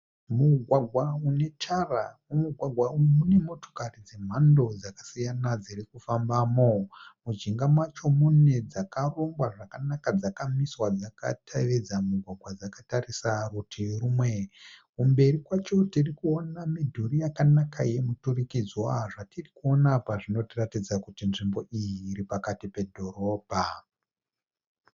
Mugwagwa unetara. Mumugwagwa umu mune motokari dzemhando dzakasiyana dziri kufambamo. Mujinga macho mune dzakarogwa zvakanaka dzakamiswa dzakatevedza mugwagwa dzakatarisa rutivi rumwe. Kumberi kwacho tirikuona midhuri yakanaka yemiturikidzwa. Zvatirikuona apa zvinotitaridza kuti nzvimbo iyi iri pakati pedhorobha.